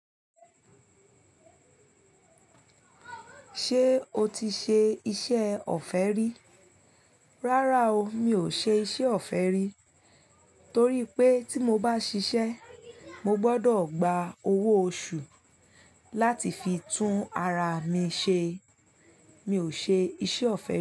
Ṣé o ti ṣe iṣẹ́ ọ̀fẹ́ rí? Rárá o, mi ò ṣe iṣẹ́ ọ̀fẹ́ rí torí pé tí mo bá ṣiṣẹ́, mo gbọdọ̀ gba owó oṣù láti fi tún ara mi ṣe. Mi ò ṣe iṣẹ́ ọ̀fẹ́ rí.